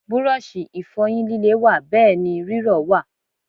Búrọ̀ṣì Ìfọ̀yín líle wà bẹ́ẹ̀ ni rírọ̀ wà